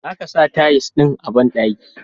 Zaka sa tiles ɗin a banɗaki.